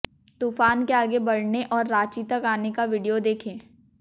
तूफान के आगे बढ़ने और रांची तक आने का वीडियो देखें